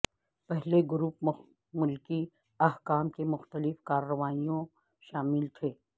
پہلے گروپ ملکی حکام کی مختلف کارروائیوں شامل تھے